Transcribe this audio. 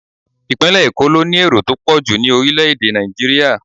Ipinle Eko ló ní èrò tó pọ̀jù ní orile-ede Naijiria.